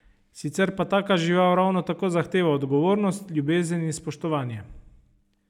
Sicer pa taka žival ravno tako zahteva odgovornost, ljubezen in spoštovanje.